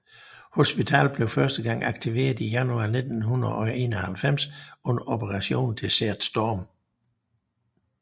Hospitalet blev første gang aktiveret i januar 1991 under Operation Desert Storm